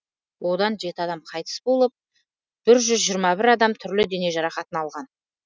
одан жеті адам қайтыс болып бір жүз жиырма бір азамат түрлі дене жарақатын алған